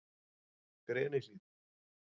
Grenihlíð